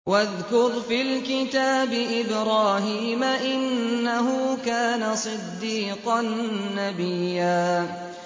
وَاذْكُرْ فِي الْكِتَابِ إِبْرَاهِيمَ ۚ إِنَّهُ كَانَ صِدِّيقًا نَّبِيًّا